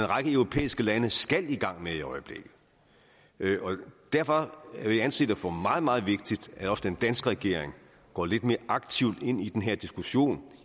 række europæiske lande skal i gang med i øjeblikket derfor vil jeg anse det for meget meget vigtigt at også den danske regering går lidt mere aktivt ind i den her diskussion